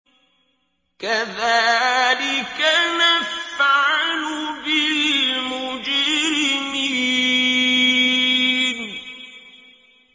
كَذَٰلِكَ نَفْعَلُ بِالْمُجْرِمِينَ